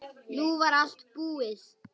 Nú var allt búið.